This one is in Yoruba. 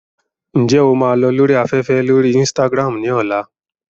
Ǹjẹ́ o máa lọ lórí afẹ́fẹ́ lórí Instagram ní ọ̀la?